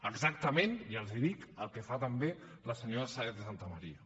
exactament ja els hi dic el que fa també la senyora sáenz de santamaría